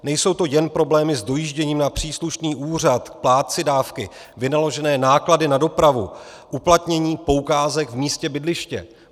Nejsou to jen problémy s dojížděním na příslušný úřad k plátci dávky, vynaložené náklady na dopravu, uplatnění poukázek v místě bydliště.